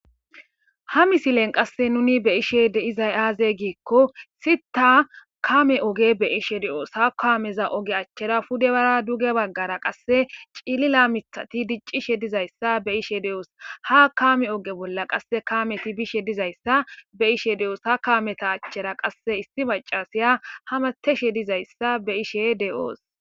ha misilen qasse nuni be ishe deizay aazey giikko sita kame oge be ishe de7oos ha kaameza oge achchera pudebara duge baggara qasse cilila mithati diccishe dizayssa be ishe de7oos ha kame oge bolla qasse kaameti bishe dizayssa be ishe de7oos ha kameta achchera qasse issi macasiya ha mateshe dizayssa be ishe de7oos